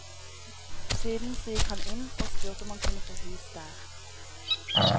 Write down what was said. Siden så gikk han inn, og spurte om han kunne få hus der.